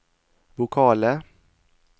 vokale